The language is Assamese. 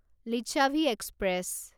লিচ্ছাভি এক্সপ্ৰেছ